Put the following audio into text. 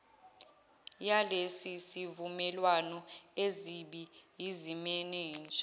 yalesisivumelwano azibi yizimenenja